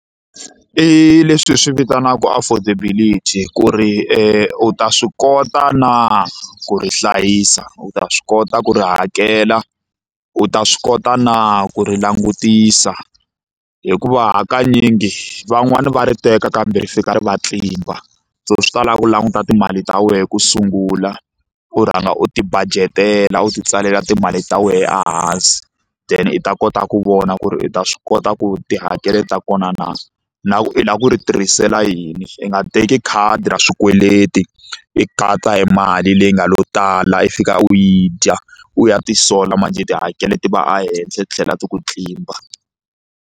I leswi hi swi vitanaka affordability ku ri u ta swi kota na ku ri hlayisa u ta swi kota ku ri hakela u ta swi kota na ku ri langutisa hikuva hakanyingi van'wani va ri teka kambe ri fika ri va tlimba so swi ta lava u languta timali ta wena ku sungula u rhanga u ti budget-ela u titsalela timali ta wena ehansi then i ta kota ku vona ku ri u ta swi kota ku tihakelo ta kona na na ku i lava ku ri tirhisela yini i nga teki khadi ra swikweleti i hi mali leyi nga lo tala i fika u yi dya u ya ti sola manjhe tihakelo ti va henhla ti tlhela ti ku tlimba.